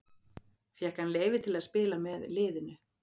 Fékk hann leyfi til að spila með liðinu.